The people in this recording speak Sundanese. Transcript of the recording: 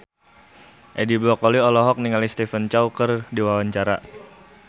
Edi Brokoli olohok ningali Stephen Chow keur diwawancara